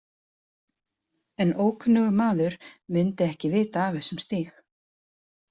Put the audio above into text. En ókunnugur maður myndi ekki vita af þessum stíg.